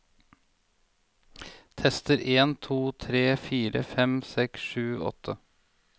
Tester en to tre fire fem seks sju åtte